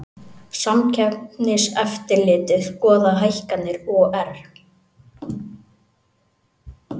Samkeppniseftirlitið skoðar hækkanir OR